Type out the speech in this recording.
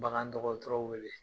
Bagan dɔgɔtɔrɔw wele